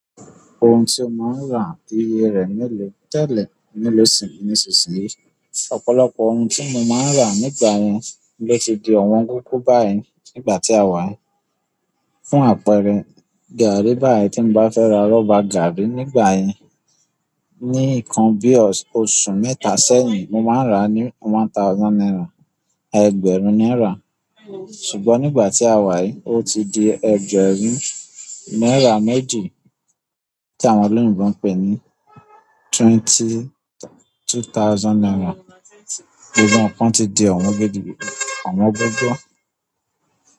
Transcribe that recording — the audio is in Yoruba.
Ohun tí ó ma ń ra, iye rẹ mèlò tẹ́lẹ̀, mèlò sì ni nísinsìnyí. Ọ̀pọ̀lọpọ̀ ohun tí mo máa ń rà nígbà yẹn ló ti di ọ̀wọ́n gógó báyìí nígbà tí a wà. Fún àpẹẹrẹ, gàárì báyìí tí mo bá fẹ́ ra rọ́bà gàárì nígbà yẹn ní nǹkan bí i oṣù mẹ́ta sẹ́yìn, mo máa ń rà á ní one thousand naira, ẹgbẹ̀rún náírà. Ṣùgbọ́n nígbà tí a wà yìí, ó ti di ẹgbẹ̀rún náírà méjì tí àwọn olóyìnbo ń pè ní twenty, two thousand naira. Gbogbo ǹkan ti di ọ̀wọ́n gidi, ọ̀wọ́n gógó.